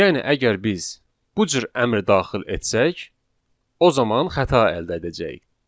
Yəni əgər biz bu cür əmr daxil etsək, o zaman xəta əldə edəcəyik.